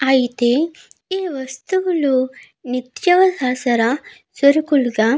అయితే ఈ వస్తువులు నిత్యావసర సరుకులుగా--